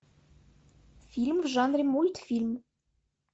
фильм в жанре мультфильм